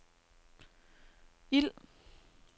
ild